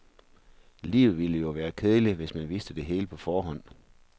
Livet ville jo være kedeligt, hvis man vidste det hele på forhånd.